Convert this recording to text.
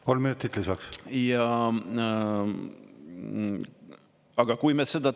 Kolm minutit lisaks.